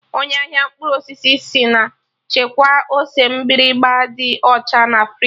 Onye ahịa mkpụrụ osisi sị mụ chekwaa ose mgbịrịgba ndị ọcha na friji